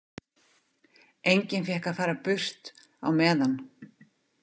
Enginn fékk að fara burt á meðan.